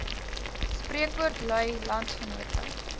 spreekwoord lui landsgenote